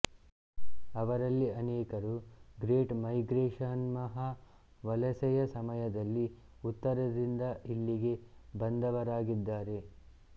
ಅವರಲ್ಲಿ ಅನೇಕರು ಗ್ರೇಟ್ ಮೈಗ್ರೇಶನ್ಮಹಾ ವಲಸೆ ಯ ಸಮಯದಲ್ಲಿ ಉತ್ತರದಿಂದ ಇಲ್ಲಿಗೆ ಬಂದವರಾಗಿದ್ದಾರೆ